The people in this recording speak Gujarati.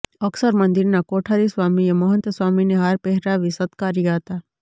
અક્ષર મંદિરના કોઠારી સ્વામીએ મહંત સ્વામી ને હાર પહેરાવી સત્કાર્યા હતા